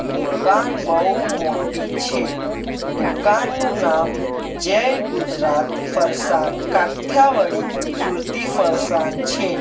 દુકાન બહુ મોટી છે દુકાનનું નામ જય ગુજરાત ફરસાન કાઠીયાવાડી સુરતી ફરસાન છે.